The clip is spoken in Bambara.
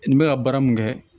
N bɛ ka baara mun kɛ